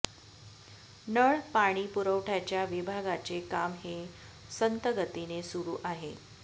नळ पाणी पुरवठ्याच्या विभागाचे काम हे संत गतीने सुरू आहे